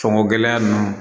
Sɔngɔ gɛlɛn ninnu